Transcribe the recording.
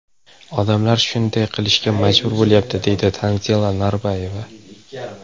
Odamlar shunday qilishga majbur bo‘lyapti”, deydi Tanzila Norboyeva.